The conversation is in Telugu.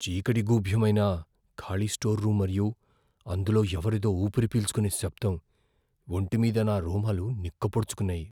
చీకటి గూభ్యమైన ఖాళీ స్టోర్ రూమ్ మరియు అందులో ఎవరిదో ఊపిరి పీల్చుకునే శబ్దం, ఒంటిమీద నా రోమాలు నిక్కపొడుచుకున్నాయి.